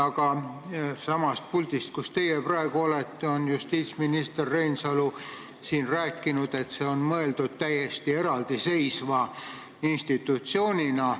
Sellestsamast puldist, kus teie praegu seisate, on justiitsminister Reinsalu rääkinud, et see on mõeldud täiesti eraldi seisva institutsioonina.